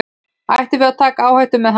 Ættum við að taka áhættu með hann?